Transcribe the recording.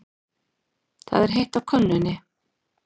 Það er heitt á könnunni.